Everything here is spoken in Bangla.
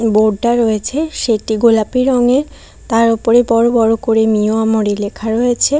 বোর্ড টা রয়েছে সেটি গোলাপি রঙের তার উপরে বড় বড় করে মিও আমরি লেখা রয়েছে।